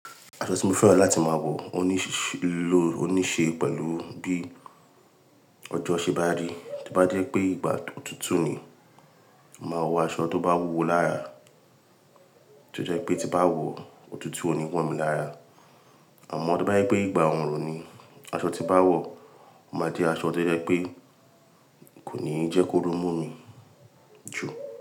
Aṣọ tí mo fẹ́ràn láti máa wọ òníṣe pẹ̀lú bí ọjọ́ ṣe bá rí, tí bá jẹ́ pé ìgbà òtútù ni, màá wọ aṣọ tó bá wúwo lára, tí ó jẹ́ pé tí n bá wọ̀, òtútù ò ní wọ̀ mí lára. Àmọ́ to bá jẹ́ pé ìgbà òrùn ni, aṣọ tí n ba wọ̀ o máa jẹ́ aṣọ tó jẹ́ pé kò ní jẹ́ kó ru mú mi jù.